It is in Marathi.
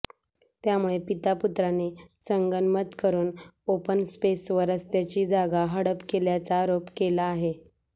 त्यामुळे पीता पुत्रांनी संगनमत करून ओपन स्पेस व रस्ताची जागा हडप केल्याचा आरोप केला आहे